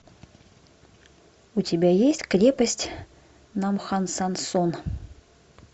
у тебя есть крепость намхансансон